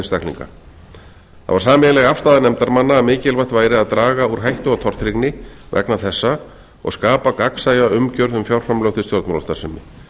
einstaklinga það var sameiginleg afstaða nefndarmanna að mikilvægt væri að draga úr hættu á tortryggni vegna þessa og skapa gagnsæja umgjörð um fjárframlög til stjórnmálastarfsemi